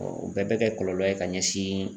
o bɛɛ bɛ kɛ kɔlɔlɔ ye ka ɲɛsin.